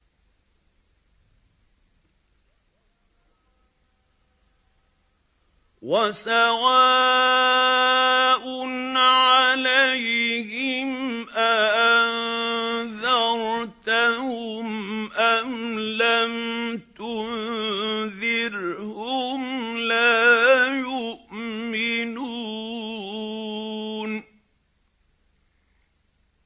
وَسَوَاءٌ عَلَيْهِمْ أَأَنذَرْتَهُمْ أَمْ لَمْ تُنذِرْهُمْ لَا يُؤْمِنُونَ